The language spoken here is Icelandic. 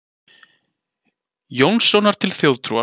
Jónssonar til þjóðtrúar.